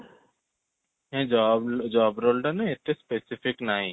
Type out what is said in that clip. ନାଇଁ job job role ଟା ନାଇଁ ମାନେଏତେ specific ନାହିଁ